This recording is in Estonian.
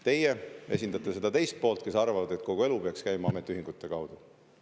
Teie esindate seda teist poolt, kes arvavad, et kogu elu peaks käima ametiühingute kaudu.